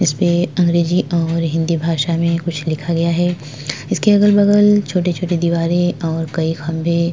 इसमें अंग्रेजी और हिंदी भाषा में कुछ लिखा गया है इसके अगल - बगल छोटे - छोटे दीवारे और कई खम्बे --